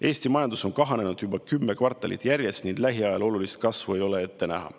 Eesti majandus on kahanenud juba kümme kvartalit järjest ning lähiajal olulist kasvu ei ole ette näha.